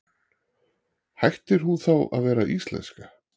Hættir hún þá að vera íslenska?